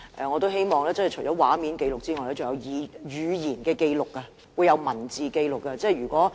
我希望除了以畫面紀錄外，還會以文字紀錄這一幕。